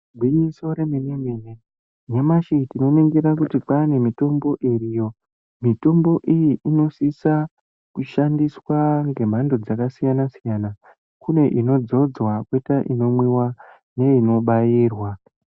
Gwinyiso remene mene nyamashi tinoningira kuti kwane mitombo iriyo mitombo iyi inosisa kushandiswa ngemhando dzakasiyana siyana kune inodzidzwa, koita inomwiwa neinobairwa.